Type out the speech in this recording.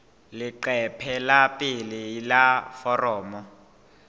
leqephe la pele la foromo